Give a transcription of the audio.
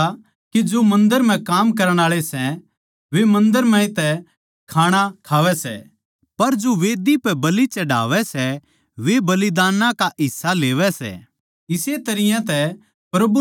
के थमनै न्ही बेरा के जो मन्दर म्ह काम करण आळे मन्दर म्ह तै खाणा खावैं सै पर जो मंढही पै बलि चढ़ावै सै वे बलिदानां का हिस्सा लेवै सै